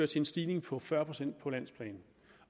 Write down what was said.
til en stigning på fyrre procent på landsplan